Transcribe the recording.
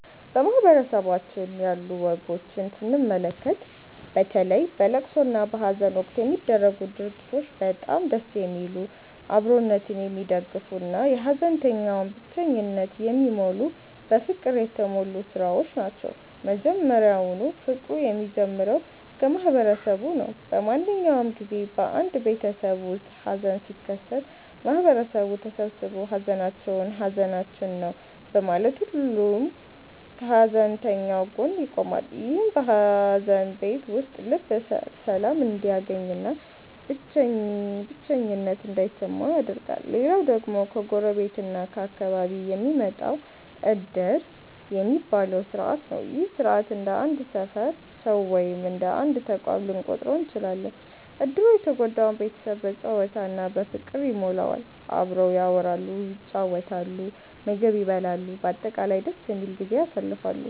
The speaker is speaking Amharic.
በማህበረሰባችን ያሉ ወጎችን ስንመለከት፣ በተለይ በለቅሶ እና በሃዘን ወቅት የሚደረጉት ድርጊቶች በጣም ደስ የሚሉ፣ አብሮነትን የሚደግፉ እና የሃዘንተኛውን ብቸኝነት የሚሞሉ በፍቅር የተሞሉ ሥራዎች ናቸው። መጀመሪያውኑ ፍቅሩ የሚጀምረው ከማህበረሰቡ ነው። በማንኛውም ጊዜ በአንድ ቤተሰብ ውስጥ ሃዘን ሲከሰት፣ ማህበረሰቡ ተሰብስቦ 'ሃዘናችሁ ሃዘናችን ነው' በማለት ሁሉም ከሃዘንተኛው ጎን ይቆማል። ይህም በሃዘን ቤት ውስጥ ልብ ሰላም እንዲያገኝና ብቸኝነት እንዳይሰማ ያደርጋል። ሌላው ደግሞ ከጎረቤት እና ከአካባቢው የሚመጣው 'ዕድር' የሚባለው ሥርዓት ነው። ይህ ሥርዓት እንደ አንድ ሰፈር ሰው ወይም እንደ አንድ ተቋም ልንቆጥረው እንችላለን። ዕድሩ የተጎዳውን ቤተሰብ በጨዋታ እና በፍቅር ይሞላዋል። አብረው ያወራሉ፣ ይጫወታሉ፣ ምግብ ይበላሉ፤ በአጠቃላይ ደስ የሚል ጊዜን ያሳልፋሉ።